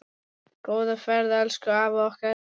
Góða ferð elsku afi okkar.